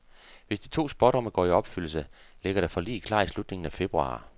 Hvis de to spådomme går i opfyldelse, ligger der forlig klar i slutningen af februar.